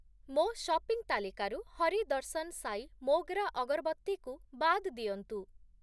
ମୋ ସପିଂ ତାଲିକାରୁ ହରି ଦର୍ଶନ୍ ସାଇ ମୋଗ୍ରା ଅଗର୍‌ବତ୍ତୀ କୁ ବାଦ୍ ଦିଅନ୍ତୁ ।